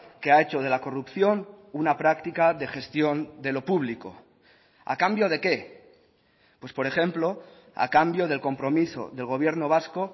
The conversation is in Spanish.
que ha hecho de la corrupción una práctica de gestión de lo público a cambio de qué pues por ejemplo a cambio del compromiso del gobierno vasco